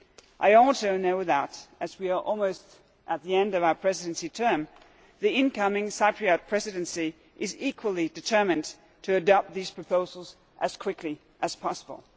I also know that, as we are almost at the end of our presidency term, the incoming Cyprus Presidency is equally determined to adopt these proposals as quickly as possible.